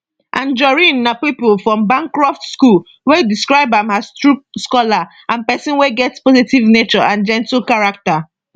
anjorin na pupil for bancroft school wey describe am as true scholar and pesin wey get positive nature and gentle character